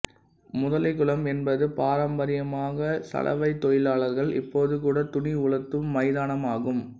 முதலைக்குளம் என்பது பாரம்பரியமாக சலவைத் தொழிலாளர்கள் இப்போது கூட துணி உலர்த்தும் மைதானமாகும்